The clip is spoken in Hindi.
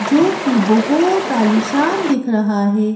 जो कि बहुत आलिशान दिख रहा है।